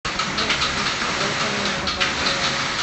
джой включи дофамин собачий лай